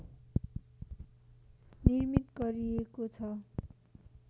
निर्मित गरिएको छ